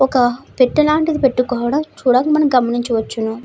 ఒక పెట్ట లాంటిది పెట్టుకోవడం చూదాల్సినదిని గ్రమనించవచ్చును.